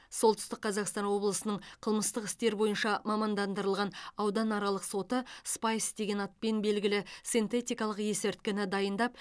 солтүстік қазақстан облысы қылмыстық істер бойынша мамандандырылған ауданаралық соты спайс деген атпен белгілі синтетикалық есірткіні дайындап